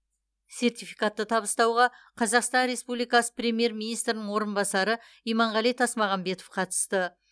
сертификатты табыстауға қазақстан республикасы премьер министрінің орынбасары иманғали тасмағамбетов қатысты